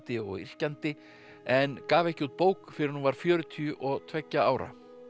og yrkjandi en gaf ekki bók fyrr en hún var fjörutíu og tveggja ára